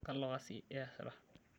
Kalo kasi iyasita?